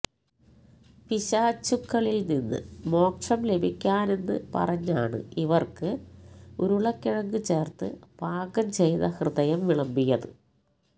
പിശാചുക്കളില്നിന്ന് മോക്ഷം ലഭിക്കാനെന്ന് പറഞ്ഞാണ് ഇവര്ക്ക് ഉരുളക്കിഴങ്ങ് ചേര്ത്ത് പാകംചെയ്ത ഹൃദയം വിളമ്പിയത്